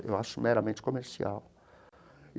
Eu acho meramente comercial.